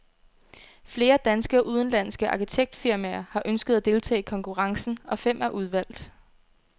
Flere danske og udenlandske arkitektfirmaer har ønsket at deltage i konkurrencen, og fem er udvalgt.